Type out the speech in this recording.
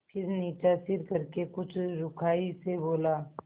फिर नीचा सिर करके कुछ रूखाई से बोला